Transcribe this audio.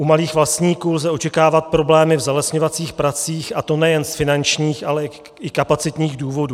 U malých vlastníků lze očekávat problémy v zalesňovacích pracích, a to nejen z finančních, ale i kapacitních důvodů.